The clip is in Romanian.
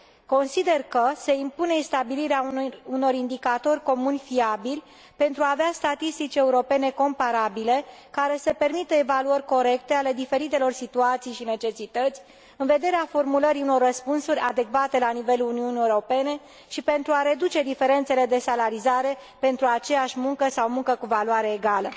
Consider că se impune stabilirea unor indicatori comuni fiabili pentru a avea statistici europene comparabile, care să permită evaluări corecte ale diferitelor situații și necesități, în vederea formulării unor răspunsuri adecvate la nivelul Uniunii Europene și pentru a reduce diferențele de salarizare pentru aceeași muncă sau muncă cu valoare egală.